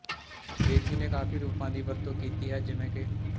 ਬੇਦੀ ਨੇ ਕਾਫ਼ੀ ਰੂਪਾਂ ਦੀ ਵਰਤੋਂ ਕੀਤੀ ਹੈ ਜਿਵੇਂ ਕਿ